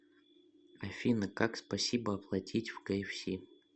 афина как спасибо оплатить в кфс